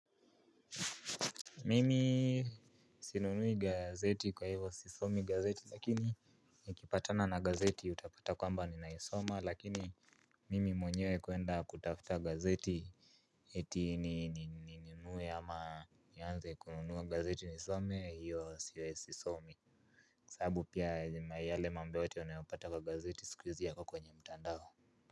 Mimi sinunui gazeti kwa hivyo sisomi gazeti lakini nikipatana na gazeti utapata kwamba ninaisoma lakini mimi mwenyewe kuenda kutafuta gazeti eti ninunue ama nianze kununua gazeti nisome hivyo siwe sisomi. Kwa sahabu pia yale mambo yote unayopata kwa gazeti sikuizia yako kwenye mtandao.